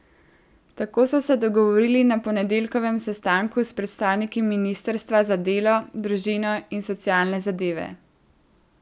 Tako so se dogovorili na ponedeljkovem sestanku s predstavniki ministrstva za delo, družino in socialne zadeve.